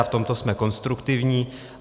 A v tomto jsme konstruktivní.